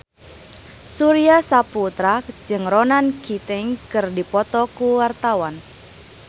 Surya Saputra jeung Ronan Keating keur dipoto ku wartawan